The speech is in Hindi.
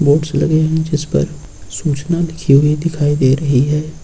बोर्ड्स लगे हुए हैं जिस पर सूचना लिखी हुई दिखाई दे रही है।